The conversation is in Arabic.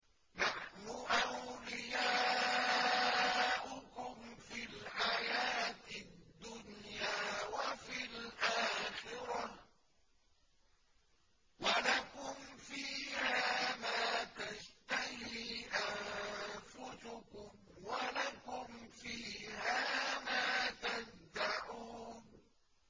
نَحْنُ أَوْلِيَاؤُكُمْ فِي الْحَيَاةِ الدُّنْيَا وَفِي الْآخِرَةِ ۖ وَلَكُمْ فِيهَا مَا تَشْتَهِي أَنفُسُكُمْ وَلَكُمْ فِيهَا مَا تَدَّعُونَ